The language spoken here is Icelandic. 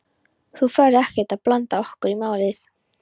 Þú ferð ekkert að blanda okkur í málið?